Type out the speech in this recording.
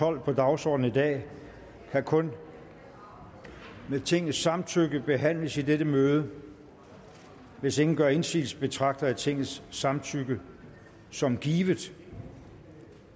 tolv på dagsordenen i dag kan kun med tingets samtykke behandles i dette møde hvis ingen gør indsigelse betragter jeg tingets samtykke som givet